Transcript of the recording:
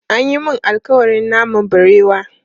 An yi mun alƙawarin naman barewa.